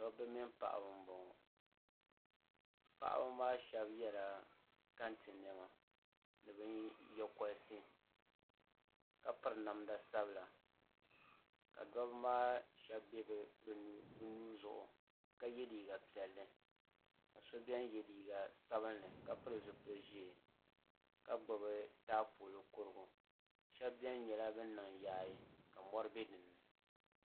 Dabba mini paɣaba n bɔŋɔ paɣaba maa shab yɛla kɛntɛ niɛma ni nyingokoriti ka piri namda sabila ka dabba maa shab bɛ bi nuu zuɣu ka yɛ liiga piɛlli ka so biɛni yɛ liiga sabinli ka pili zipili ʒiɛ ka gbubi taapoli kurigu shab biɛni niŋ yaayɛ